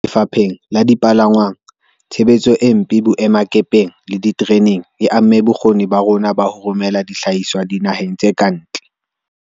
Lefapheng la dipalangwang, tshebetso e mpe boemakepeng le ditereneng e amme bokgoni ba rona ba ho romela dihlahiswa dina heng tse ka ntle.